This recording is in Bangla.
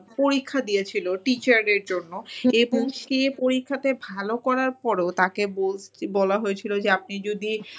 পরীক্ষা দিয়েছিল teacher এর জন্য এবং সে পরীক্ষাতে ভাল করার পরও তাকে বলা হয়েছিল যে আপনি যদি